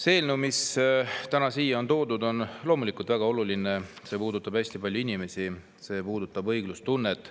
See eelnõu, mis täna siia on toodud, on loomulikult väga oluline, see puudutab hästi paljusid inimesi, see puudutab õiglustunnet.